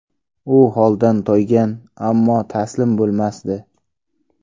U holdan toygan, ammo taslim bo‘lmasdi.